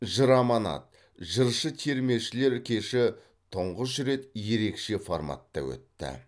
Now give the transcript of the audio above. жыр аманат жыршы термешілер кеші тұңғыш рет ерекше форматта өтті